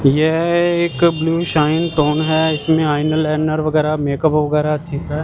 यह एक blue shine tone है इसमें आइन आइलाइनर वेगारह मेकअप वगैरह चीज है।